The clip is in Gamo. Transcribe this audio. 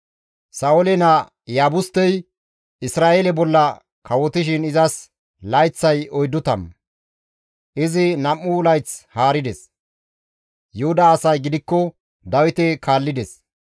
Sa7oole naa Iyaabustey Isra7eele bolla kawotishin izas layththay oyddu tammu; izi nam7u layth haarides. Yuhuda asay gidikko Dawite kaallides.